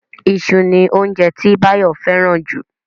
Iṣu ni óunjẹ tí Báyọ̀ fẹ́ràn jù